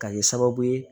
Ka kɛ sababu ye